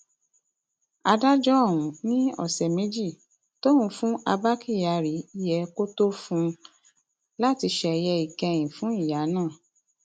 adájọ ọhún ni ọsẹ méjì tóun fún abba kyari yẹ kó tó fún un láti ṣeye ìkẹyìn fún ìyá náà